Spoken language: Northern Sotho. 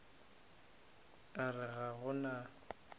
a re ga go na